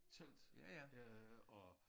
Telt øh og